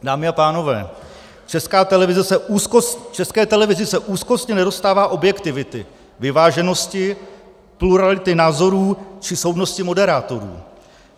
Dámy a pánové, České televizi se úzkostně nedostává objektivity, vyváženosti, plurality názorů či soudnosti moderátorů.